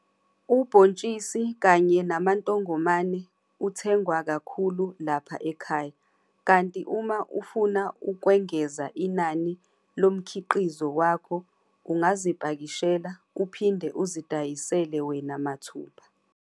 Ubhontshisi kanye namantongomane uthengwa kakhulu lapha ekhaya, kanti uma ufuna ukwengeza inani lomkhiqizo wakho ungazipakishela uphinde uzidayisele wena mathupha.